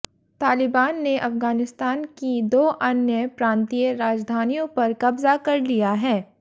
तालिबान ने अफ़ग़ानिस्तान की दो अन्य प्रांतीय राजधानियों पर कब्ज़ा कर लिया है